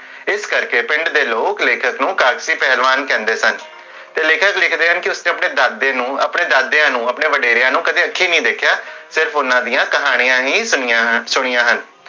ਇਸ ਕਰਕੇ ਪਿੰਡ ਦੇ ਲੋਗ ਲੇਖਕ ਨੂੰ ਕਾਲ੍ਸੀ ਪਹਲਵਾਨ ਕਹੰਦੇ ਸਨ, ਤੇ ਲੇਖਕ ਲਿਖਦੇ ਹਨ ਕੇ, ਉਸਨੇ ਆਪਣੇ ਦਾਦੇ ਨੂ, ਆਪਣੇ ਵਡੇਰਿਆਂ ਨੂੰ ਕਦੇ ਅਖੀ ਨੀ ਦੇਖਿਆ, ਸਿਰਫ ਓਨਾ ਦੀਆਂ ਕਹਾਣੀਆਂ ਹੀ ਸੁਨੀ ਸੁਨੀਆਂ ਹਨ l